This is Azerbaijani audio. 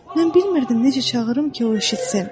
Mən bilmirdim necə çağırım ki, o eşitsin.